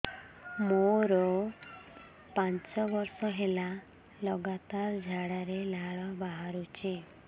ମୋରୋ ପାଞ୍ଚ ବର୍ଷ ହେଲା ଲଗାତାର ଝାଡ଼ାରେ ଲାଳ ବାହାରୁଚି